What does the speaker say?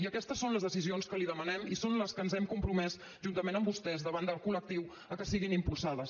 i aquestes són les decisions que li demanem i són les que ens hem compromès juntament amb vostès davant del col·lectiu que siguin impulsades